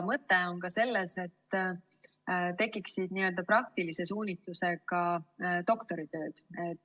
Mõte on ka selles, et tekiksid praktilise suunitlusega doktoritööd.